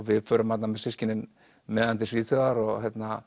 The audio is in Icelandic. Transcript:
við förum þarna systkinin með hann til Svíþjóðar og